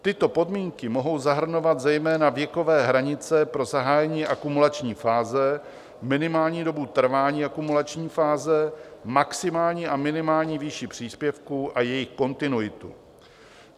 Tyto podmínky mohou zahrnovat zejména věkové hranice pro zahájení akumulační fáze, minimální dobu trvání akumulační fáze, maximální a minimální výši příspěvků a jejich kontinuitu.